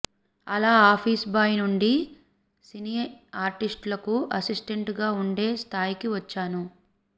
అలా office boy నుండి cine ఆర్టిస్టులకు అసిస్టెంటుగా ఉండే స్థాయికి వచ్చాను